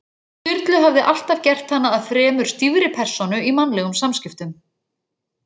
Sturlu hafði alltaf gert hana að fremur stífri persónu í mannlegum samskiptum.